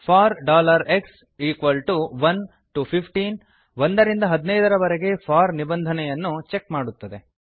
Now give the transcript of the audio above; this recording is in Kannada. ಫೋರ್ x 1 ಟಿಒ 15 1 ರಿಂದ 15 ರವರೆಗೆ ಫೋರ್ ನಿಬಂಧನೆಯನ್ನು ಚೆಕ್ ಮಾಡುತ್ತದೆ